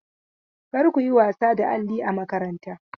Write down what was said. Kar ku yi wasa da alli a makaranta!